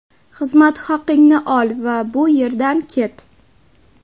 Xizmat haqingni ol va bu yerdan ket.